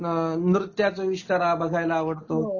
बऱ्याच लोकाना नृत्याचा आविष्कार बघायला आवडतो